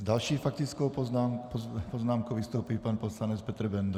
S další faktickou poznámkou vystoupí pan poslanec Petr Benda.